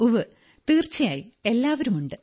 ഉവ്വ് തീർച്ചയായും എല്ലാവരുമുണ്ട്